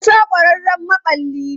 Musa ƙwararren maɓalli ne.